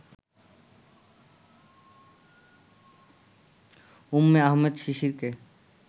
Umme Ahmed শিশিরকে